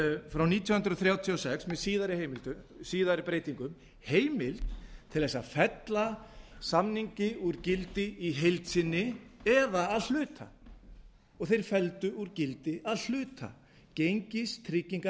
frá nítján hundruð þrjátíu og sex með síðari breytingum heimild til þess að fella samningi úr gildi í heild sinni eða að hluta þeir felldu úr gildi að hluta